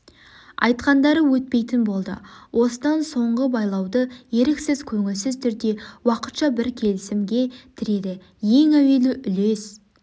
айтқандары өтпейтін болды осыдан соңғы байлауды еріксіз көңілсіз түрде уақытша бір келісімге тіреді ең әуелі үлес